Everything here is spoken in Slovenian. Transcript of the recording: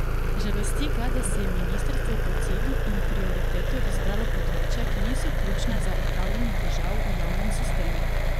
Žalosti ga, da si je ministrstvo kot cilj in prioriteto izbralo področja, ki niso ključna za odpravljanje težav v javnem sistemu.